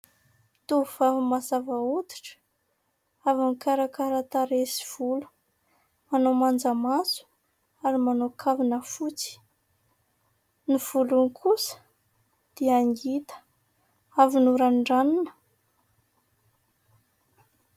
Tovovavy mazava hoditra avy nikarakara tarehy sy volo. Manao manjamaso ary manao kavina fotsy. Ny volony kosa dia ngita, avy norandranina.